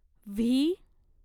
V